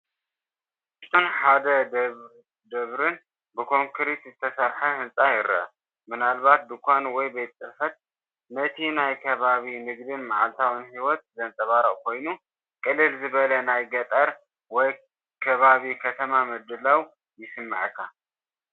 ንእሽቶን ሓደ ደብርን ብኮንክሪት ዝተሰርሐ ህንጻ ይርአ፣ ምናልባት ድኳን ወይ ቤት ጽሕፈት። ነቲ ናይቲ ከባቢ ንግድን መዓልታዊ ህይወትን ዘንጸባርቕ ኮይኑ፡ ቅልል ዝበለ ናይ ገጠር ወይ ከባቢ ከተማ ምድላው ይስምዓካ፡፡